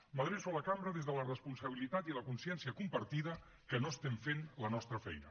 m’adreço a la cambra des de la responsabilitat i la consciència compartida que no estem fent la nostra feina